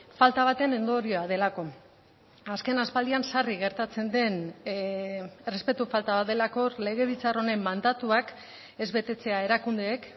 falta baten ondorioa delako azken aspaldian sarri gertatzen den errespetu falta bat delako legebiltzar honen mandatuak ez betetzea erakundeek